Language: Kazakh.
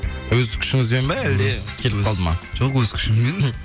өз күшіңізбен бе әлде келіп қалды ма жоқ өз күшіммен